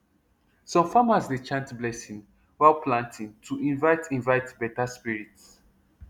some farmers dey chant blessing while planting to invite invite better spirits